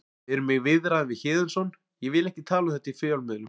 Við erum í viðræðum við Héðinsson ég vil ekki tala um þetta í fjölmiðlum.